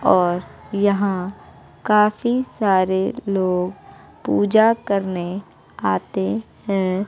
और यहां काफी सारे लोग पूजा करने आते है।